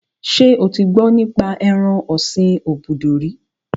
Ṣé o ti gbọ́ nípa ẹran ọ̀sin obudu rí?